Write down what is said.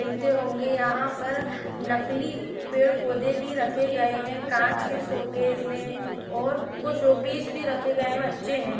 मिलते होंगे यहाँ पर नकली पेड़ पौधे भी रखे गए है काँच के शोकेस मे और कुछ शोपीस भी रखे गये है। बच्चे है--